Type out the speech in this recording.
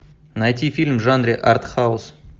найти фильм в жанре артхаус